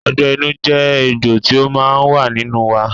Ọgbẹ́ inú jẹ́ egbò tí ó wà nínú wa.